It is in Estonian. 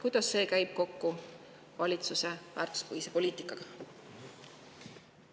Kuidas see käib kokku valitsuse väärtuspõhise poliitikaga?